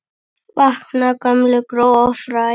Vakna gömul gró og fræ.